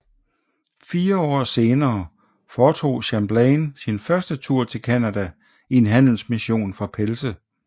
Fire år senere foretog Champlain sin første tur til Canada i en handelsmission for pelse